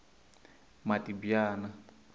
matibyana